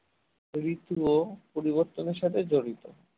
ঋতুও পরিবর্তনের সাথে জড়িত